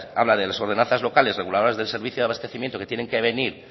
habla de las ordenanzas locales reguladas del servicio de abastecimiento que tienen que venir